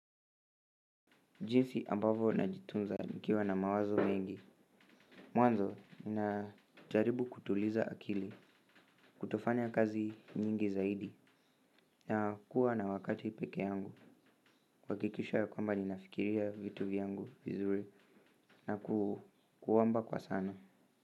Jinsi ambavo najitunza nikiwa na mawazo mengi mwanzo, ninajaribu kutuliza akili. Kutofanya kazi nyingi zaidi na kuwa na wakati peke yangu kuhakikisha ya kwamba ninafikiria vitu vyangu vizuri na kuoamba kwa sana.